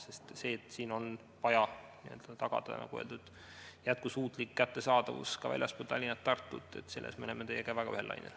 Sest selles, et on vaja n-ö tagada jätkusuutlik kättesaadavus ka väljaspool Tallinna-Tartut, me oleme teiega väga ühel lainel.